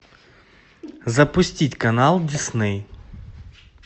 запустить канал дисней